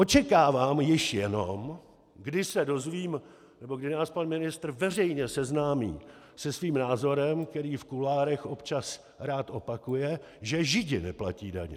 Očekávám již jenom, kdy se dozvím nebo kdy nás pan ministr veřejně seznámí se svým názorem, který v kuloárech občas rád opakuje, že Židi neplatí daně.